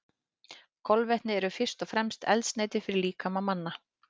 Kolvetni eru fyrst og fremst eldsneyti fyrir líkama manna.